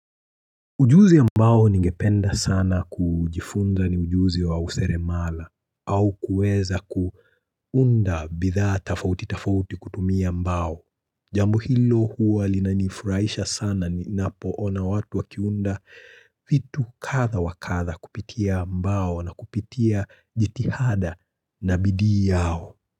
Ujuzi ambao ningependa sana kujifunza ni ujuzi wa useremala au kueza kuunda bidhaa tafauti tafauti kutumia mbao. Jambo hilo huwa linanifuraisha sana ni napoona watu wakiunda vitu kadhaa wakadha kupitia mbao na kupitia jitihada na bidii yao.